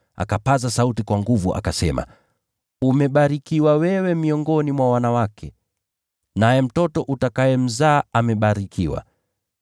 akapaza sauti kwa nguvu akasema, “Umebarikiwa wewe miongoni mwa wanawake, naye mtoto utakayemzaa amebarikiwa.